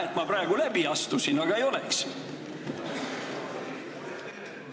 Hea, et ma praegu läbi astusin, aga oleks võinud ka mitte ...